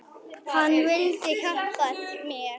Hann vildi hjálpa mér.